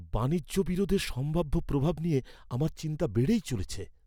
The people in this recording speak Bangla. বাণিজ্য বিরোধের সম্ভাব্য প্রভাব নিয়ে আমার চিন্তা বেড়েই চলেছে।